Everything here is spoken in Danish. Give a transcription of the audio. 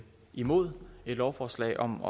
imod et lovforslag om